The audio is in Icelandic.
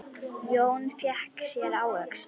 Jón fékk sér ávöxt.